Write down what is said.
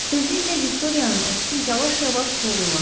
Tezliklə Viktoriyanın əksi yavaş-yavaş solğunlaşdı.